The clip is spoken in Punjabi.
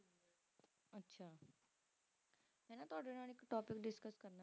ਮੈਂ ਨਾ ਤੁਹਾਡੇ ਨਾਲ ਇੱਕ topic discuss ਕਰਨਾ ਸੀ